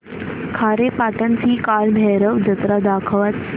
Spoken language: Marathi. खारेपाटण ची कालभैरव जत्रा दाखवच